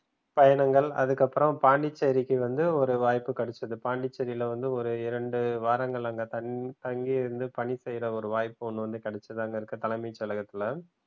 பயணங்கள் அதுக்கப்புறம் பாண்டிச்சேரிக்கு வந்து ஒரு வாய்ப்பு கிடைச்சது பாண்டிச்சேரியில வந்து ஒரு இரண்டு வாரங்கள் அங்க தன் தங்கியிருந்து பணிசெய்ற ஒரு வாய்ப்பு ஒன்னு வந்து கிடைச்சது அங்க இருக்குற தலைமை செயலகத்துல